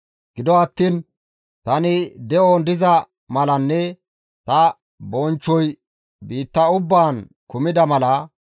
Gido attiin tani de7on diza malanne ta bonchchoy biitta ubbaan kumida mala,